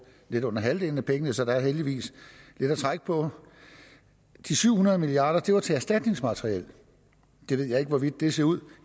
lidt under halvdelen af pengene så der er heldigvis lidt at trække på de syv hundrede milliard kroner var til erstatningsmateriel jeg ved ikke hvordan det ser ud